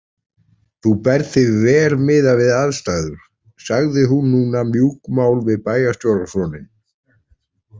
Þú berð þig vel miðað við aðstæður, sagði hún núna mjúkmál við bæjarstjórasoninn.